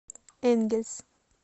энгельс